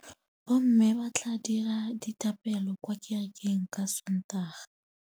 Bommê ba tla dira dithapêlô kwa kerekeng ka Sontaga.